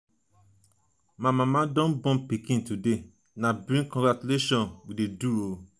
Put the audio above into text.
my mama don born pikin today na big celebration we dey do o.